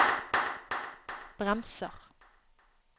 bremser